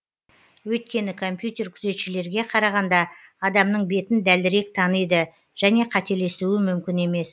өйткені компьютер күзетшілерге қарағанда адамның бетін дәлірек таниды және қателесуі мүмкін емес